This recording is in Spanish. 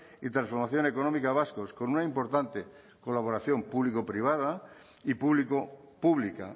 y transformación económica vascos con una importante colaboración público privada y público pública